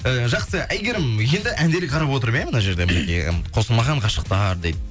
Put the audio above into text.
ы жақсы әйгерім енді әндерге қарап отырып иә мына жерде мінекей қосылмаған ғашықтар дейді